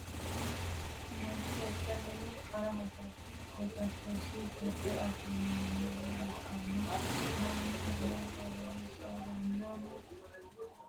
Manchi beetira minnu qara hasatosi gido afamanoha ikanna Manu mine horoonsiranohu umowore galatenna uduunicho wodhate ikanna konni minnira albaanni noo muro maatiro kuli?